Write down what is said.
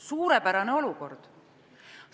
Suurepärane olukord!